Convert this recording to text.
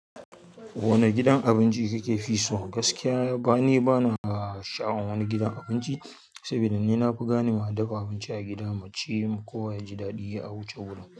Wane gidan abinci kike fi so? Gaskiya bane bana sha'awar wani gidan abinci, saboda ni na fi gane ma dafa abinci a gida mu ci, kowa yaji daɗi ya wuce wurin.